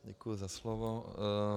Děkuji za slovo.